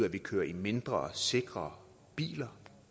at vi kører i mindre sikre biler